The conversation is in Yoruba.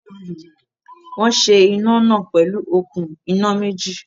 Wọ́n ṣe iná náà pẹ̀lú okùn iná méjì